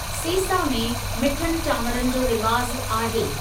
सेसा में मिठनि चांवरनि जो रिवाजु आहे।